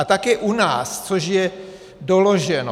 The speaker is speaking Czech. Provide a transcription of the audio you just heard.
A také u nás, což je doloženo.